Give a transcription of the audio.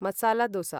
masala दोस